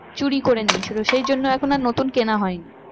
চুরি করে নিয়েছিল সেই জন্য এখন আর নতুন কেনা হয়নি।